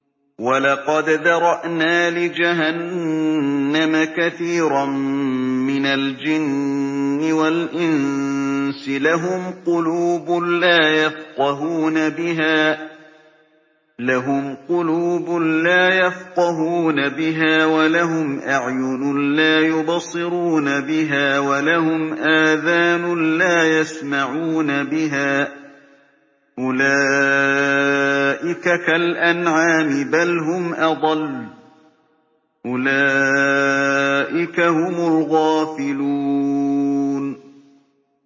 وَلَقَدْ ذَرَأْنَا لِجَهَنَّمَ كَثِيرًا مِّنَ الْجِنِّ وَالْإِنسِ ۖ لَهُمْ قُلُوبٌ لَّا يَفْقَهُونَ بِهَا وَلَهُمْ أَعْيُنٌ لَّا يُبْصِرُونَ بِهَا وَلَهُمْ آذَانٌ لَّا يَسْمَعُونَ بِهَا ۚ أُولَٰئِكَ كَالْأَنْعَامِ بَلْ هُمْ أَضَلُّ ۚ أُولَٰئِكَ هُمُ الْغَافِلُونَ